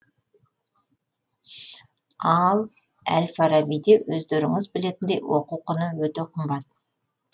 ал әл фарабиде өздеріңіз білетіндей оқу құны өте қымбат